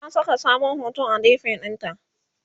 ta Saka sabon hoto a DP ɗinta